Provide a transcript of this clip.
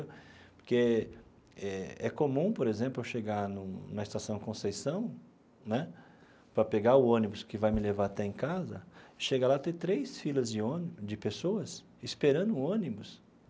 Porque é comum, por exemplo, eu chegar no na estação Conceição né, para pegar o ônibus que vai me levar até em casa, chega lá e tem três filas de ônibus de pessoas esperando o ônibus.